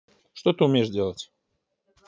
что ты умеешь делать